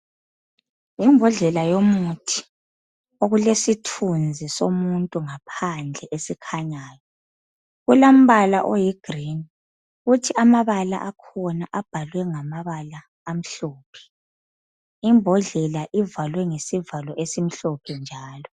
Imbodlela yomuthi okulesithunzi somuntu ngaphandle esikhanyayo kulombala oyigrini kuthi amabala akhona abhalwe ngamabala amhlophe imbodlela ivalwe ngesivalo esimhlophe njalo.